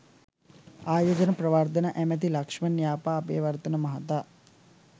ආයෝජන ප්‍රවර්ධන ඇමැති ලක්‍ෂ්මන් යාපා අබේවර්ධන මහතා